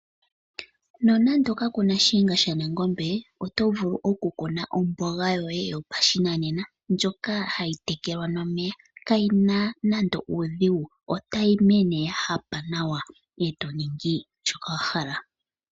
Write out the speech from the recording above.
Nonando kaku na shiyenga shanangombe oto vulu okukuna omboga yoye yopashinanena, ndjoka hayi tekelwa nomeya. Kayi na nande uudhigu, otayi mene ya hapa nawa e to ningi shoka wa hala.